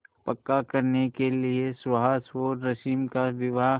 पक्का करने के लिए सुहास और रश्मि का विवाह